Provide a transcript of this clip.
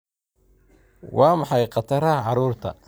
Waa maxay khataraha carruurta?